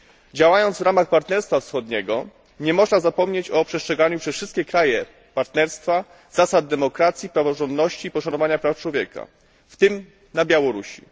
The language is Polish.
Działając w ramach Partnerstwa wschodniego nie można zapomnieć o przestrzeganiu przez wszystkie kraje partnerstwa zasad demokracji, praworządności i poszanowania praw człowieka, w tym na Białorusi.